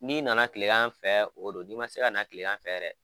N'i nana tilegan an fɛ o don n'i ma se ka na tilegan fɛ yɛrɛ